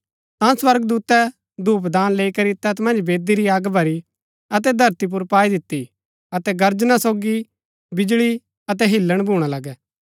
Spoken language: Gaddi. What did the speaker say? ता स्वर्गदूतै धूपदान लैई करी तैत मन्ज वेदी री अग भरी अतै धरती पुर पाई दिती अतै गर्जना सोगी बिजळी अतै हिल्‍लण भूणा लगै